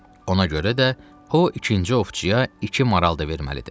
Ona görə də o ikinci ovçuya iki maral da verməlidir.